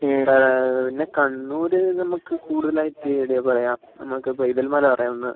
ഈട പിന്നെ നമ്മുക് കണ്ണൂർ കൂടുതലായിട്ട് എടയ പറയാ നമ്മക്ക് പൈതൽ മല പറയാം ഒന്ന്